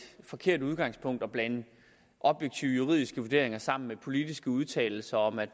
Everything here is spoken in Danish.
forkert udgangspunkt at blande objektive juridiske vurderinger sammen med politiske udtalelser om at